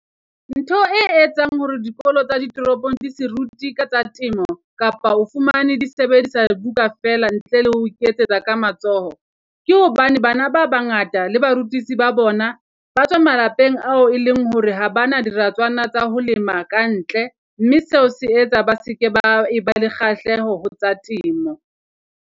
Ntho e etsang hore dikolo tsa ditoropong di se rute ka tsa temo, kapa o fumane di sebedisa buka feela ntle le ho iketsetsa ka matsoho. Ke hobane bana ba bangata a le barutisi ba bona, ba tswa malapeng ao e leng hore ha bana diratswana tsa ho lema kantle mme seo se etsa ba se ke ba ba le kgahleho ho tsa temo.